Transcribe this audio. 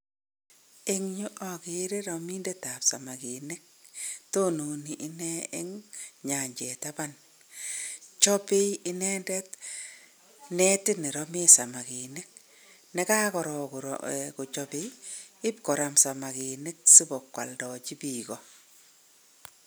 Eng' yu akere ramindetab samakinik. Tonone ine eng nyanjet taban. Chopei inendet netit neramee samakinik, nekakorop kochopei ipkoram samakinik siko kwoldochi biiko.